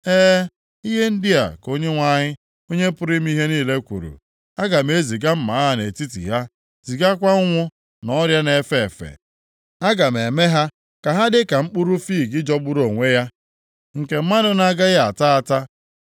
E, ihe ndị a ka Onyenwe anyị, Onye pụrụ ime ihe niile kwuru, “Aga m eziga mma agha nʼetiti ha, zigakwa ụnwụ na ọrịa na-efe efe. Aga m eme ha ka ha dị ka mkpụrụ fiig jọgburu onwe ya, nke mmadụ na-agaghị ata ata.